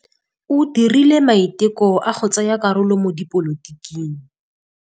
O dirile maitekô a go tsaya karolo mo dipolotiking.